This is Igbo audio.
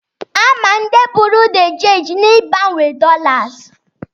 A ma ndị bụrụ dị chenji na-ịgbanwe dọlas.